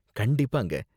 கண்டிப்பாங்க.